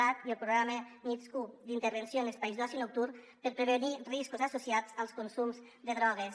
cat i el programa nitsq d’intervenció en espais d’oci nocturn per prevenir riscos asso·ciats als consums de drogues